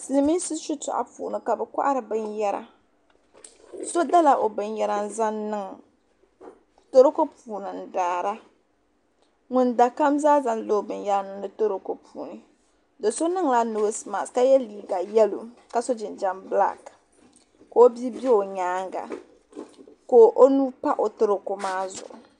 Silimiinsi shitɔɣu puuni kabi kohiri bin yara.so dala ɔbinyera n zaŋ niŋ toroko puuni ndaara. ŋun da kam zaa zaŋdi la ɔbin yera niŋdi toroko puuni. doni la nɔɔse mat kaye liiga yelɔw. kaso jinjam black ka ɔbiibe ɔnyaaŋa. ka ɔnuhipa ɔtoroko maa zuɣu